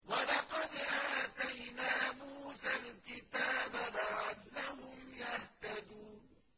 وَلَقَدْ آتَيْنَا مُوسَى الْكِتَابَ لَعَلَّهُمْ يَهْتَدُونَ